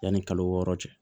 Yanni kalo wɔɔrɔ cɛ